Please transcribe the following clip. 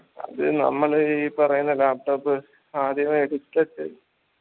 അത് നമ്മള് ഈ പറയുന്ന laptop ആദ്യമേ എടുത്തിട്ട്